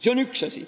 See on üks asi.